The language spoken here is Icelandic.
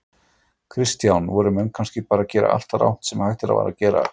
Kristján: Voru menn kannski að gera allt rangt sem hægt var að gera?